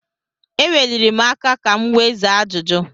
E weliri m aka ka m wee zaa ajụjụ.